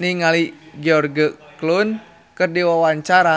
ningali George Clooney keur diwawancara